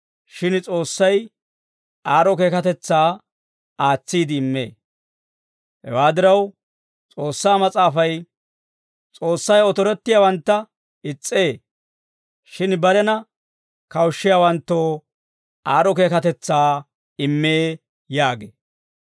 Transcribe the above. Shin S'oossay aad'd'o keekatetsaa aatsiide immee. Hewaa diraw, S'oossaa Mas'aafay, «S'oossay otorettiyaawantta is's'ee; shin barena kawushshiyaawanttoo aad'd'o keekatetsaa immee» yaagee.